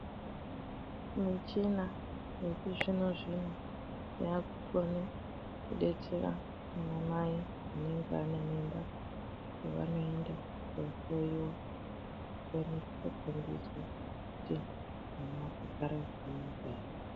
Muchina yechizvino zvino yakukone kudetsera ana mai anenge ane mimba pavanoenda kohloiwa vanosise kugundiswa kuti mwana wakagada zvakanaka ere.